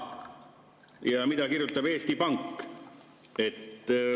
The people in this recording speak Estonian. Ja mida kirjutab Eesti Pank?